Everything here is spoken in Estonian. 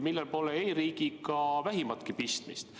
Sellel pole e-riigiga vähimatki pistmist.